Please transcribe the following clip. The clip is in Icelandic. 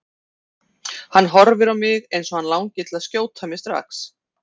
Hann horfir á mig eins og hann langi til að skjóta mig strax.